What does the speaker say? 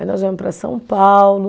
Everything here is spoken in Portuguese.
Aí nós viemos para São Paulo